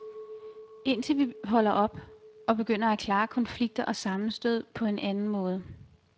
Indtil vi holder op, og begynder at klare konflikter og sammenstød på en anden måde.